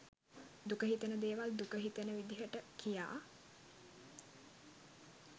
දුක හිතෙන දේවල් දුක හිතෙන විදිහට කියා